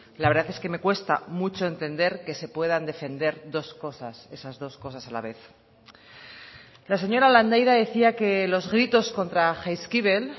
la verdad es que me cuesta mucho entender que se puedan defender dos cosas esas dos cosas a la vez la señora landaida decía que los gritos contra jaizkibel